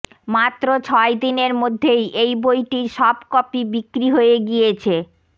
মাত্র ছয়দিনের মধ্যেই এই বইটির সব কপি বিক্রি হয়ে গিয়েছে